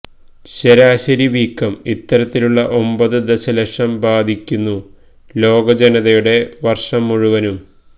ശരാശരി വീക്കം ഇത്തരത്തിലുള്ള ഒമ്പത് ദശലക്ഷം ബാധിക്കുന്നു ലോകജനതയുടെ വർഷം മുഴുവനും